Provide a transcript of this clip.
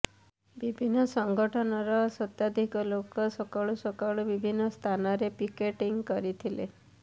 ବିଭିନ୍ନ ସଂଗଠନର ଶତାଧିକ ଲୋକ ସକାଳୁ ସକାଳୁ ବିଭିନ୍ନ ସ୍ଥାନରେ ପିକେଟିଂ କରିଥିଲେ